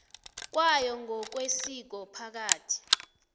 kwayo ngokwesiko phakathi